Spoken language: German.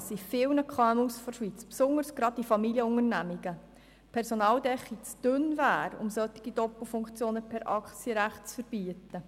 Uns, die wir in diesem Saal sitzen, ist klar, dass in vielen Schweizer KMU die Personaldecke zu dünn wäre, um solche Doppelfunktionen per Aktienrecht zu verbieten.